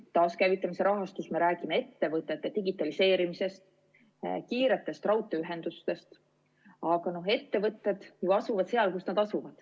Taaskäivitamise rahastuse puhul me räägime ettevõtete digitaliseerimisest ja kiirest raudteeühendusest, aga ettevõtted asuvad seal, kus nad asuvad.